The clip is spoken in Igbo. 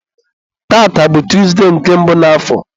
tata bụ tọzụdee nke mbụ n'afọ